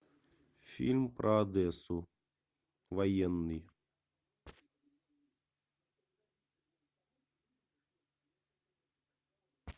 фильм про одессу военный